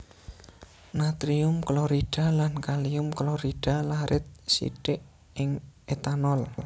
Natrium klorida lan kalium klorida larit sithik ing etanol